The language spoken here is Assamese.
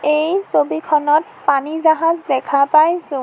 এই ছবিখনত পানী জাহাজ দেখা পাইছোঁ।